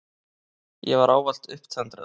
Ég var allur upptendraður.